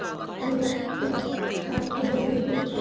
Þú varst svo falleg og yndisleg.